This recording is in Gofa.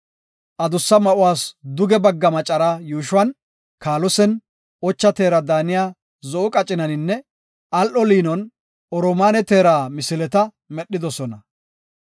Adussa ma7uwas duge bagga macara yuushuwan kaalosen, ocha teera daaniya zo7o qacinaninne al7o liinon, oromaane teera misileta medhidosona.